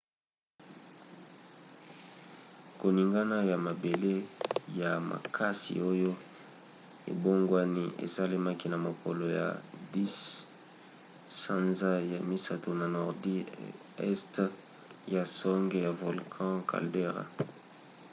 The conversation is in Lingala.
koningana ya mabele ya makasi oyo ebongwani esalamaki na mokolo ya 10 sanza ya misato na nordi este ya songe ya volcan caldera